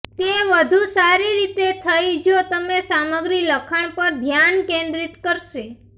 તે વધુ સારી રીતે થઈ જો તમે સામગ્રી લખાણ પર ધ્યાન કેન્દ્રિત કરશે